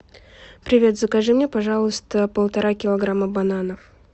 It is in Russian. привет закажи мне пожалуйста полтора килограмма бананов